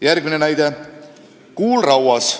Järgmine näide: kuul rauas.